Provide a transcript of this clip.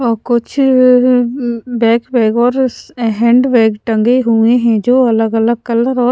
औ कुछ अअअ बैक बैग और स हैंड बैग टंगे हुए हैं जो अलग अलग कलर और --